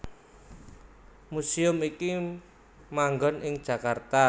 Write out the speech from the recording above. Museum iki manggon ing Jakarta